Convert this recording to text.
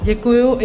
Děkuji.